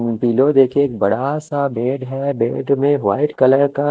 अम्म pillow देखो एक बड़ा सा बेड है बेड में वाइट कलर का--